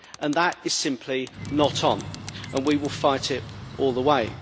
That is simply not on and we will fight it all the way.